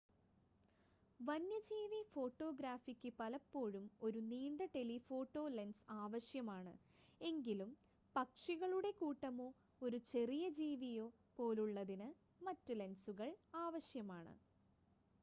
വന്യജീവി ഫോട്ടോഗ്രാഫിക്ക് പലപ്പോഴും ഒരു നീണ്ട ടെലിഫോട്ടോ ലെൻസ് ആവശ്യമാണ് എങ്കിലും പക്ഷികളുടെ കൂട്ടമോ ഒരു ചെറിയ ജീവിയോ പോലുള്ളതിന് മറ്റ് ലെൻസുകൾ ആവശ്യമാണ്